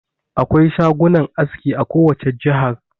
Akwai shagunan aski a kowace jihar.